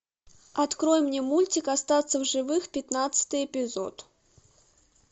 открой мне мультик остаться в живых пятнадцатый эпизод